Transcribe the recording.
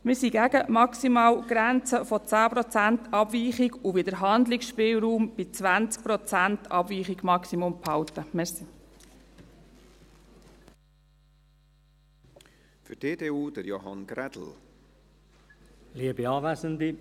Wir sind gegen die Maximalgrenze von 10 Prozent Abweichung und wollen den Handlungsspielraum bei maximal 20 Prozent Abweichung behalten.